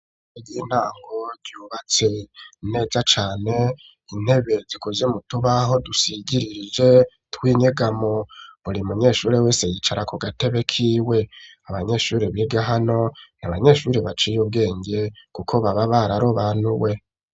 Egintango ryubatse nteja cane intebeziko vyo mu tubaho dusigiririje twinyega mu buri munyeshuri wese yicara ku gatebe kiwe abanyeshuri biga hano niabanyeshuri baciye ubwenge, kuko baba bararo banuwe.